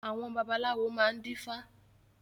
Àwọn babaláwo máa ń dífá